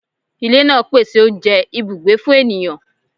Ilẹ naa pese ounjẹ, ibugbe fun eniyan